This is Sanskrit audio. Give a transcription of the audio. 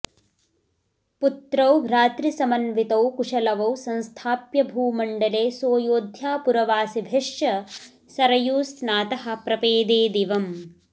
पुत्रौ भ्रातृसमन्वितौ कुशलवौ संस्थाप्य भूमण्डले सोऽयोध्यापुरवासिभिश्च सरयूस्नातः प्रपेदे दिवं